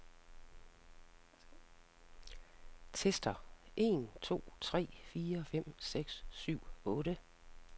Tester en to tre fire fem seks syv otte.